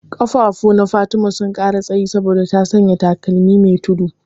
Ƙafafuna Fatima sun ƙara tsayi saboda ta sanya takalmi me tudu.